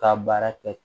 Ka baara kɛ